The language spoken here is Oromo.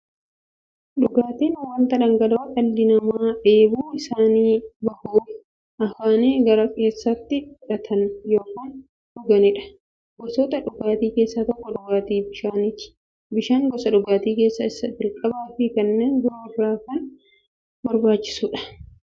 Dhugaatiin wanta dhangala'oo dhalli namaa dheebuu isaanii ba'uuf, afaaniin gara keessaatti fudhatan yookiin dhuganiidha. Gosoota dhugaatii keessaa tokko dhugaatii bishaaniti. Bishaan gosa dhugaatii keessaa isa jalqabaafi kanneen biroo irra kan barbaachisuudha. Dhugaatiin biroo immoo dhugaatii waarshalee keessatti oomishamaniidha.